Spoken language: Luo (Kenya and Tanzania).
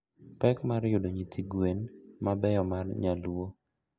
Pek mar yudo nyithi gwen mabeyo mar nyaluo.